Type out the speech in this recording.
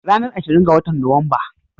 Ranar ashirin ga watan Nuwamba.